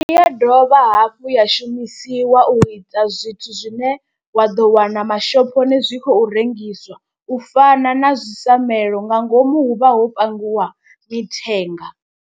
Ndi ya dovha hafhu ya shumisiwa u ita zwithu zwine wa ḓo wana mashophoni zwi khou rengiswa, u fana na zwi samuele nga ngomu hu vha ho pangiwa mithenga.